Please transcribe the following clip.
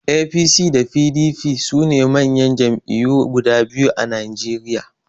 APC da PDP sune manyan Jam'iyyu guda biyu a Najeriya